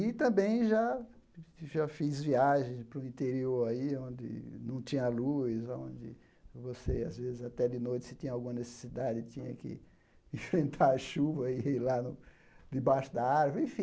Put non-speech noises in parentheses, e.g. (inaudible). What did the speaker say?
E também já já fiz viagens para o interior aí, onde não tinha luz, aonde você, às vezes, até de noite, se tinha alguma necessidade, tinha que (laughs) enfrentar a chuva e ir lá no debaixo da árvore. Enfim